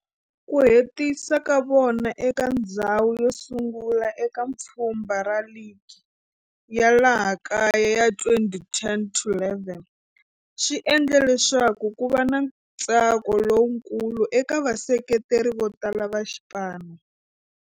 Ku hetisa ka vona eka ndzhawu yosungula eka pfhumba ra ligi ya laha kaya ya 2010-11 swi endle leswaku kuva na ntsako lowukulu eka vaseketeri votala va xipano.